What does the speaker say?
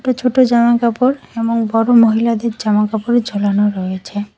একটা ছোটো জামাকাপড় এবং বড়ো মহিলাদের জামাকাপড় ঝোলানো রয়েছে।